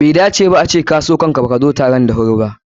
Bai dace ba a ce ka so ikinka da baka shiga taron da wuri ba.